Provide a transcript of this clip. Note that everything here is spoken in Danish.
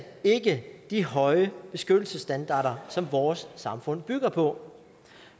ikke de høje beskyttelsesstandarder som vores samfund bygger på